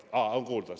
Aa, on kuulda!